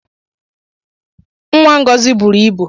Nwa Ngozi bụrụ ịbu